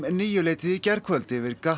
níuleytið í gærkvöld yfir